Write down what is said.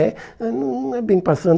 É, ah não não é bem passando.